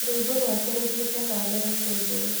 Rũimbo rwake rũthiĩte na mbere kwendwo